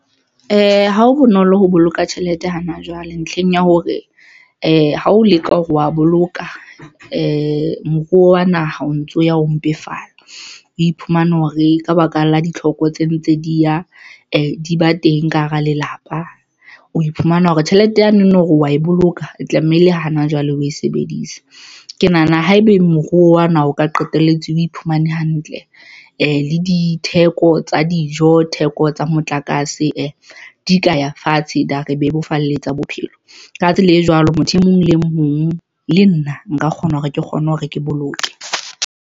Ha ho bonolo ho boloka tjhelete hana jwale ntlheng ya hore ha o leka hore wa boloka moruo wa naha o ntso ya ho mpefala, o iphumane hore ka baka la ditlhoko tse ntse di ya di ba teng ka hara lelapa. O iphumana hore tjhelete yane o no re wa e boloka tlamehile hana jwale, o e sebedise. Ke nahana haebe moruo wa naha o ka qetelletse o iphumane hantle le ditheko tsa dijo, theko tsa motlakase di ka ya fatshe, di ya re bebofaletsa bophelo. Ka tsela e jwalo, motho e mong le mong le nna nka kgona hore ke kgone hore ke boloke.